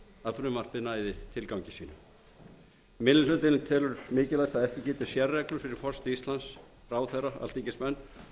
að frumvarpið næði tilgangi sínum minni hlutinn telur mikilvægt að ekki gildi sérreglur fyrir forseta íslands ráðherra alþingismenn